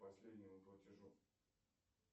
последнему платежу